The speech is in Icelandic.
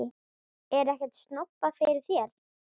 Er ekkert snobbað fyrir þér?